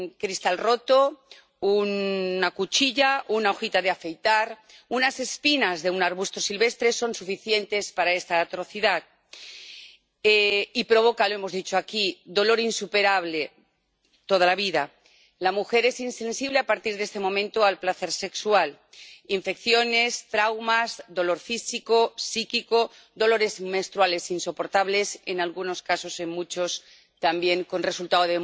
un cristal roto, una cuchilla, una hojita de afeitar, unas espinas de un arbusto silvestre son suficientes para esta atrocidad, que provoca —lo hemos dicho aquí— dolor insuperable toda la vida, que la mujer sea insensible a partir de ese momento al placer sexual, infecciones, traumas, dolor físico y psíquico, dolores menstruales insoportables en algunos casos y, en muchos, también la muerte como resultado.